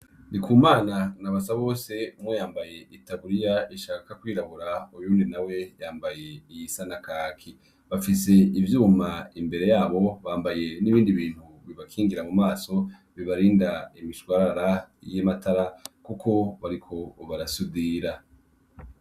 Ndikumana na Basabose umwe yambaye itaburiya ishaka kwirabura uwundi nawe yambaye iyisa na kaki. Bafise ivyuma imbere yabo Bafise n'ibindi bintu bibakingira mu maso bibarinda imishwarara y'amatara kuko bariko barasudira.